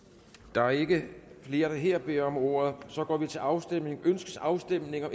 der er ikke flere der her beder om ordet så går vi til afstemning afstemning